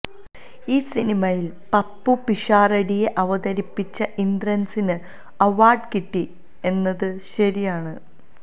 ഈ സിനിമയില് പപ്പു പിഷാരടിയെ അവതിരിപ്പിച്ച ഇന്ദ്രന്സിന് അവാര്ഡ് കിട്ടി എന്നത് ശരിയാണ്